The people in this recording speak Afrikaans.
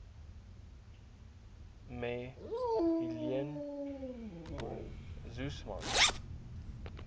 me helen suzman